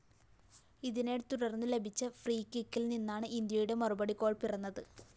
ഇതിനെത്തുടര്‍ന്നു ലഭിച്ച ഫ്രീകിക്കില്‍ നിന്നാണ് ഇന്ത്യയുടെ മറുപടി ഗോൾ പിറന്നത്